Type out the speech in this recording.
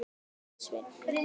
sagði Svenni.